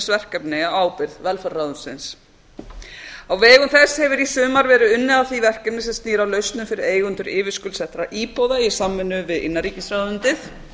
verkefni á ábyrgð velferðarráðuneytisins á vegum þess hefur í sumar verið unnið að því verkefni sem snýr að lausnum fyrir eigendur yfirskuldsettra íbúða í samvinnu við innanríkisráðuneytið